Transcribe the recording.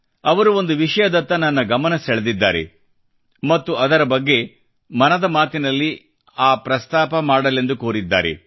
ಅವರು ಒಂದು ವಿಷಯದತ್ತ ನನ್ನ ಗಮನ ಸೆಳೆದಿದ್ದಾರೆ ಮತ್ತು ಅದರ ಬಗ್ಗೆ ಮನದ ಮಾತಿನಲ್ಲಿ ಆ ಕುರಿತು ಪ್ರಸ್ತಾಪ ಮಾಡಲೆಂದು ಕೋರಿದ್ದಾರೆ